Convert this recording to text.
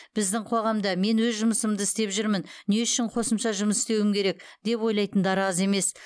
біздің қоғамда мен өз жұмысымды істеп жүрмін не үшін қосымша жұмыс істеуім керек деп ойлайтындар аз емес